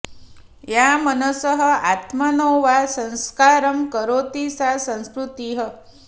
या मनसः आत्मनो वा संस्कारं करोति सा संस्कृतिः